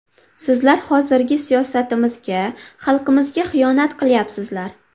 Sizlar hozirgi siyosatimizga, xalqimizga xiyonat qilyapsizlar.